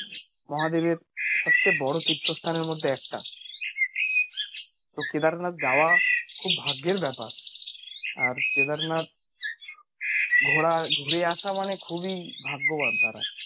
মহাদেবের সবচেয়ে বড়ো তীর্থস্থানের মধ্যে একটা তো কেদারনাথ যাওয়া খুব ভাগ্যের ব্যাপার আর কেদারনাথ ঘোরা, ঘুরে আসা মানে খুবই ভাগ্যবান তারা